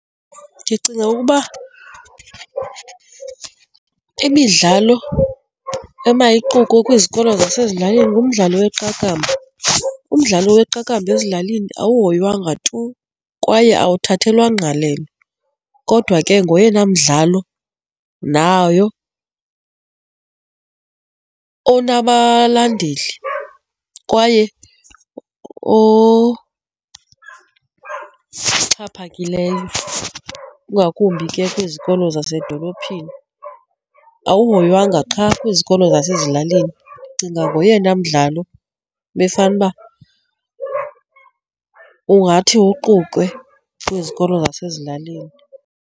Ndicinga ukuba imidlalo emayiqukwe kwizikolo zasezilalini ngumdlalo weqakamba, umdlalo weqakamba ezilalini awuhoywanga tu kwaye awuthathelwa ngqalelo. Kodwa ke, ngoyena mdlalo nayo onabalandeli kwaye oxhaphakileyo ingakumbi ke kwizikolo zasedolophini. Awuhoywanga qha kwizikolo zasezilalini. Ndicinga ngoyena mdlalo ebefanuba ungathi uqukwe kwizikolo zasezilalini.